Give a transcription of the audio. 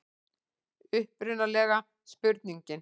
Upprunalega spurningin: